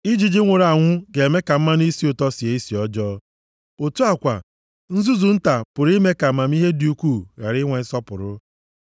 Ijiji nwụrụ anwụ ga-eme ka mmanụ isi ụtọ sie isi ọjọọ. Otu a kwa, nzuzu nta pụrụ ime ka amamihe dị ukwuu ghara inwe nsọpụrụ.